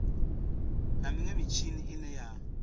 na minwe mitshini ine ya